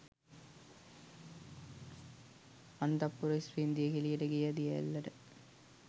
අන්තඃපුර ස්ත්‍රීන් දියකෙලියට ගිය දියඇල්ලට